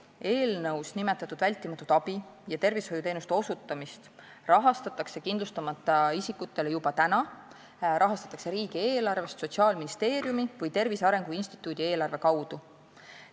Eelnõus nimetatud vältimatu abi ja tervishoiuteenuste kindlustamata isikule osutamist rahastatakse juba praegu, seda rahastatakse riigieelarvest Sotsiaalministeeriumi või Tervise Arengu Instituudi eelarve kaudu.